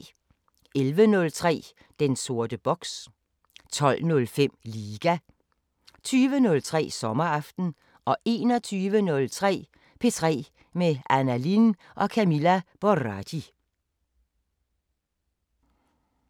11:03: Den sorte boks 12:05: Liga 20:03: Sommeraften 21:03: P3 med Anna Lin og Camilla Boraghi